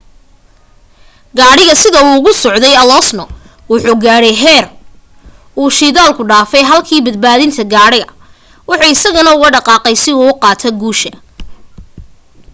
gadhiga sida uu ugu socday alonso wuxu gaadhay xeer uu shidaalka dhafay halki badbadinta gaadhiga wuxuu isagana ugu dhaqaqay si uu qaato guusha